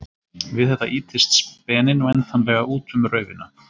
Við þetta ýtist speninn væntanlega út um raufina.